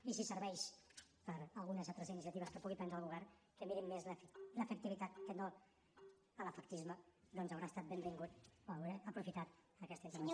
i si serveix per a algunes altres iniciatives que pugui prendre el govern que mirin més l’efectivitat que no l’efectisme doncs haurà estat benvingut o hauré aprofitat aquesta intervenció